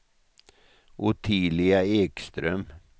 Ottilia Ekström